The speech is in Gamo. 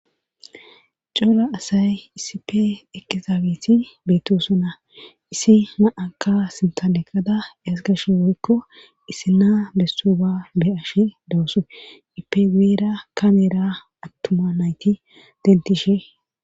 Cola asay isipe ekezaabeti beetosona issi na'aka sintaleqada yesgash boykko issi naa besso ba be ash dawusu ipegeera kameera attuma nayti dentishe.